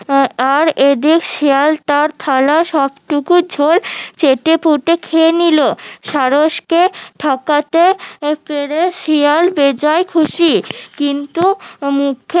আর একদিক শিয়াল তার থালার সবটুকু ঝোল চেটে পুটে খেয়ে নিলো সারস কে ঠকাতে পেরে শিয়াল বেজায় খুশি কিন্তু মুখে